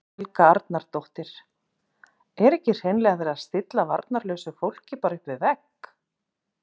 Helga Arnardóttir: Er ekki hreinlega verið að stilla varnarlausu fólki bara upp við vegg?